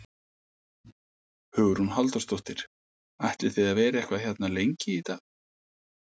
Hugrún Halldórsdóttir: Ætlið þið að vera eitthvað hérna lengi í dag?